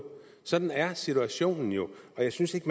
sådan er situationen jo og jeg synes ikke